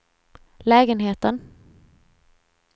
lägenheten